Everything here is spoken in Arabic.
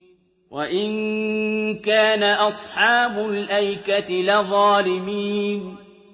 وَإِن كَانَ أَصْحَابُ الْأَيْكَةِ لَظَالِمِينَ